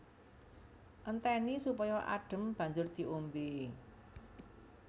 Entèni supaya adhem banjur diombé